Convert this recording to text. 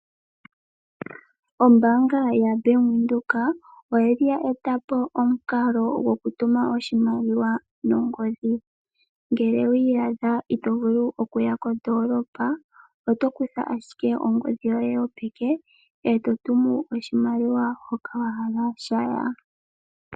Ombaanga yaBank Windhoek oya li ya eta po omukalo goku tuma oshimaliwa nongodhi, ngele wa iyadha ito vulu okuya kondoolopa oto kutha ashike ongodhi yoye yopeke e to tumu oshimaliwa hoka wahala shaya.